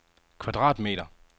kvadratmeter